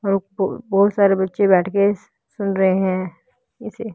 बहुत सारे बच्चे बैठ के सुन रहे हैं इसे।